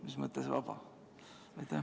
Mis mõttes vaba?